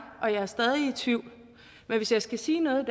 og jeg er stadig i tvivl men hvis jeg skal sige noget i